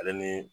Ale ni